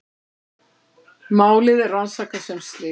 Málið er rannsakað sem slys